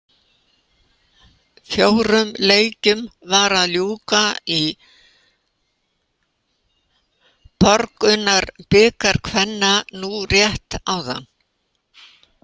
Fjórum leikjum var að ljúka í Borgunarbikar kvenna nú rétt áðan.